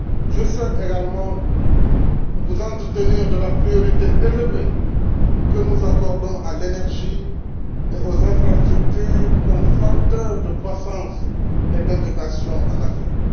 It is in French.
Je souhaite également vous entretenir de la priorité élevée que nous accordons à l'énergie et aux infrastructures comme facteurs de croissance et d'intégration en Afrique.